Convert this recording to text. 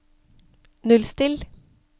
nullstill